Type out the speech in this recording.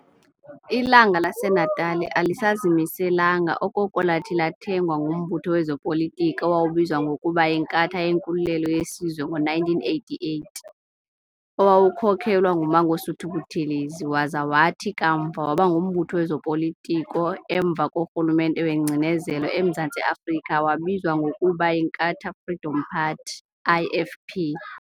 "Ilanga laseNatali" alisazimelanga okoko lathi lathengwa ngumbutho wezopolitiko owawubizwa ngokuba y"Inkatha yeNkululelo yeSizwe" ngo-1988, owawukhokhelwa nguMangosuthu Buthelezi, waza wathi kamva waba ngumbutho wezopolitiko emva korhulumente wengcinezelo emZantsi Afrika wabizwa ngokuba yInkatha Freedom Party IFP.